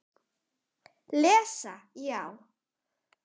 Lesa já?